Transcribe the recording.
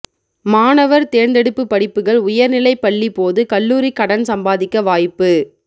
மாணவர் தேர்ந்தெடுப்பு படிப்புகள் உயர்நிலை பள்ளி போது கல்லூரி கடன் சம்பாதிக்க வாய்ப்பு